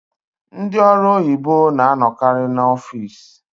Ndị ọrụ oyibo na-anọkarị n'ọfici.